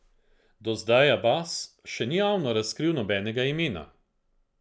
Do zdaj Abas še ni javno razkril nobenega imena.